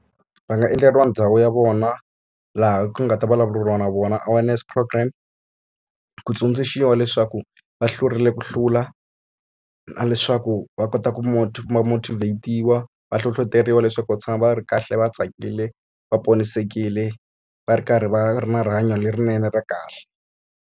Va nga endleriwa ndhawu ya vona, laha ku nga ta vulavuriwa na vona awareness program. Ku tsundzuxiwa leswaku va hlurile ku hlula, na ku va kota ku va motivate-iwa. Va hlohloteriwa leswaku va tshama va ri kahle va tsakile, va ponisekile, va ri karhi va ri na rihanyo lerinene, ra kahle.